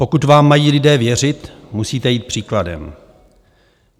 Pokud vám mají lidé věřit, musíte jít příkladem.